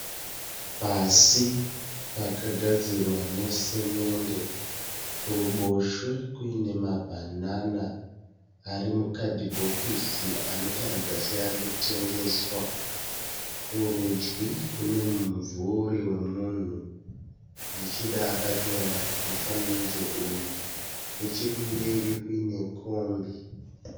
Pasi pakagadzirwa nesemende kuruboshwe kuine mabhanana ari mukadhibhokisi anotaridza seari kutengeswa. Kurudyi kune mumvuri wemunhu zvichida akatora mufananidzo uyu. Nechekumberi kuine kombi.